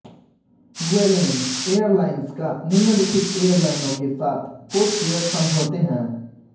Vueling airlines का निम्नलिखित एयरलाइनों के साथ कोडशेयर समझौते हैं